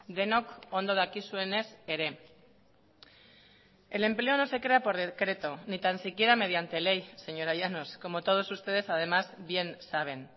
denok ondo dakizuenez ere el empleo no se crea por decreto ni tan siquiera mediante ley señora llanos como todos ustedes además bien saben